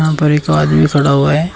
यहां पर आदमी खड़ा हुआ है।